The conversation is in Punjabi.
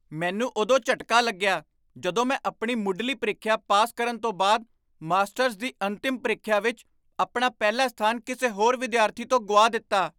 ਮੈਨੂੰ ਉਦੋਂ ਝਟਕਾ ਲੱਗਿਆ ਜਦੋਂ ਮੈਂ ਆਪਣੀ ਮੁੱਢਲੀ ਪ੍ਰੀਖਿਆ ਪਾਸ ਕਰਨ ਤੋਂ ਬਾਅਦ ਮਾਸਟਰਜ਼ ਦੀ ਅੰਤਿਮ ਪ੍ਰੀਖਿਆ ਵਿੱਚ ਆਪਣਾ ਪਹਿਲਾ ਸਥਾਨ ਕਿਸੇ ਹੋਰ ਵਿਦਿਆਰਥੀ ਤੋਂ ਗੁਆ ਦਿੱਤਾ।